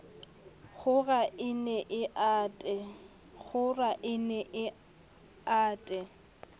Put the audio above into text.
kgora e nne e ate